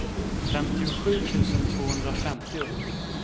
femtiosju tusen tvåhundrafemtio